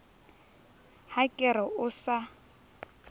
ha ke re o sa